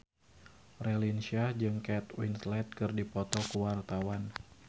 Raline Shah jeung Kate Winslet keur dipoto ku wartawan